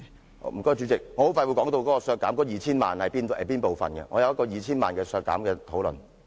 謝謝代理主席，我快要說到削減 2,000 萬元的建議，我也會作出討論。